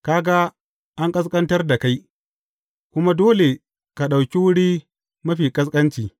Ka ga, an ƙasƙantar da kai, kuma dole ka ɗauki wuri mafi ƙasƙanci.